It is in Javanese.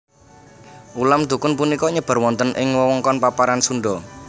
Ulam dokun punika nyebar wonten ing wewengkon paparan Sunda